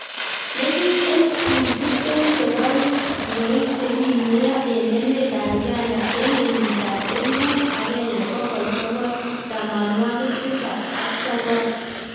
legit elput tiptem chebo mweik che kimweyo eng emet ab Uganga eng kenyita ab elput aenge bokol sokol tamanwakik tisap ak sokol